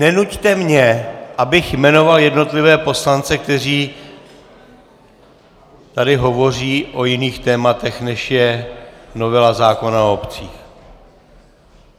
Nenuťte mě, abych jmenoval jednotlivé poslance, kteří tady hovoří o jiných tématech, než je novela zákona o obcích.